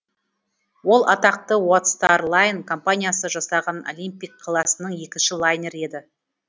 ол атақты уайт стар лайн компаниясы жасаған олимпик класының екінші лайнері еді